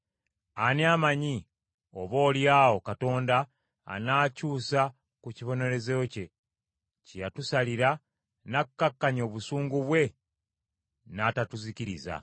Ani amanyi? Oboolyawo Katonda anaakyusa ku kibonerezo kye, kye yatusalira n’akkakkanya obusungu bwe n’atatuzikiriza.”